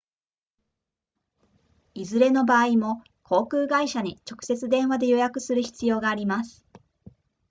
いずれの場合も航空会社に直接電話で予約する必要があります